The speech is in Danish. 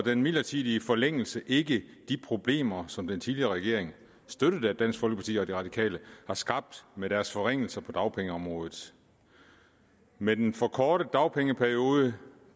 den midlertidige forlængelse ikke de problemer som den tidligere regering støttet af dansk folkeparti og de radikale har skabt med deres forringelser på dagpengeområdet med den forkortede dagpengeperiode